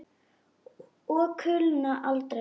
Og kulna aldrei.